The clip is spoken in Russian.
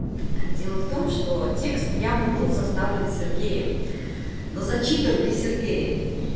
дело в том что текст явно был составлен с сергеем но зачитан не сергеем